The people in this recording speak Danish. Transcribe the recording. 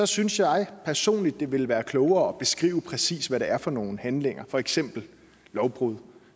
synes jeg personligt det ville være klogere at beskrive præcis hvad det er for nogle handlinger for eksempel lovbrud